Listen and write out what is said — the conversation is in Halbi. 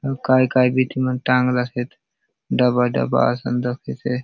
काय काय बीतीन मन टांगला से डब्बा -डब्बा असन दखेसे ।